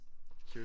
Cute